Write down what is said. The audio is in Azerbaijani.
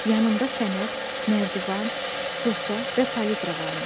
Yanında fənər, nərdivan, fırça və palitra varmış.